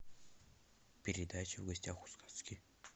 передача в гостях у сказки